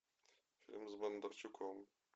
фильм с бондарчуком